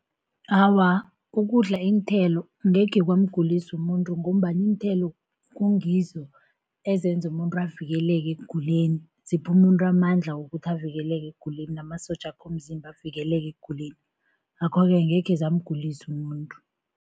Awa ukudla iinthelo ngekhe kwamgulisa umuntu, ngombana iinthelo kungizo ezenza umuntu avikeleke ekuguleni. Zipha umuntu amandla wokuthi avikeleke ekuguleni, namasotjakhe womzimba avikeleke ekuguleni. Ngakho-ke angekhe zamgulisa umuntu.